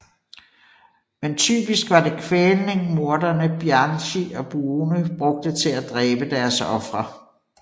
Men typisk var det kvælning morderne Bianchi og Buono brugte til at dræbe deres ofre